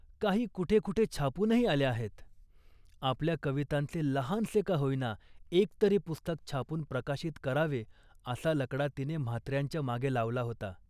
काही कुठे कुठे छापूनही आल्या आहेत. आपल्या कवितांचे लहानसे का होईना एकतरी पुस्तक छापून प्रकाशित करावे असा लकडा तिने म्हात्र्यांच्या मागे लावला होता